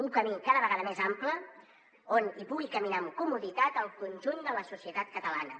un camí cada vegada més ample on hi pugui caminar amb comoditat el conjunt de la societat catalana